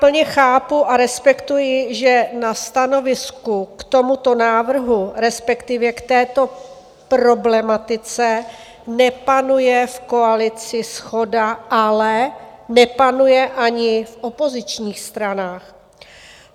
Plně chápu a respektuji, že na stanovisku k tomuto návrhu, respektive k této problematice, nepanuje v koalici shoda, ale nepanuje ani v opozičních stranách.